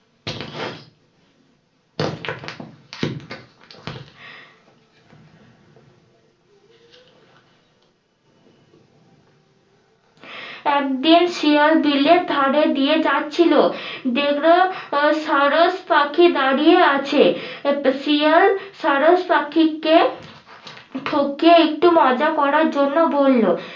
একদিন শিয়াল বিলে ধারে দিয়ে যাচ্ছিলো দেখলো সারস পাখি দাঁড়িয়ে আছে শিয়াল সারস পাখিকে একটু মজা করার জন্য বললো